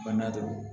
Bana de don